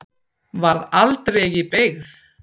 Varð aldregi beygð.